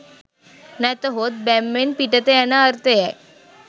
නැතහොත් බැම්මෙන් පිටත යන අර්ථය යි